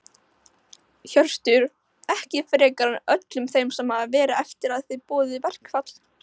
Hjörtur: Ekki frekar en öllum þeim sem hafa verið eftir að þið boðuðu verkfall?